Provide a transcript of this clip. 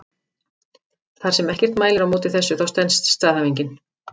Þar sem ekkert mælir á móti þessu þá stenst staðhæfingin.